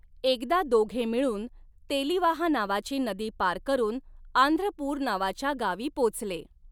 एकदा दोघे मिळून तेलिवाहा नावाची नदी पार करून आंध्रपुर नावाच्या गावी पोचले.